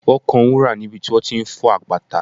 Wọ́n kan wúrà níbi tí wọ́n ti ń fọ́ àpáta